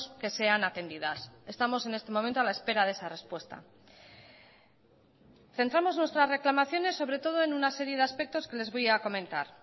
que sean atendidas estamos en este momento a la espera de esa respuesta centramos nuestras reclamaciones sobre todo en una serie de aspectos que les voy a comentar